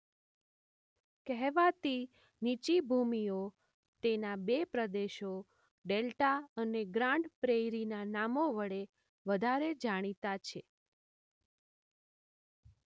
કહેવાતી નીચી ભૂમિઓ તેના બે પ્રદેશો ડેલ્ટા અને ગ્રાન્ડ પ્રેઇરીના નામો વડે વધારે જાણીતા છે.